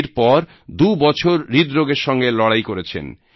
এরপর দুবছর হৃদরোগের সঙ্গে লড়াই করেছেন